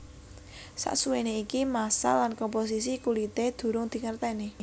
Sasuwené iki massa lan komposisi kulité durung dingerteni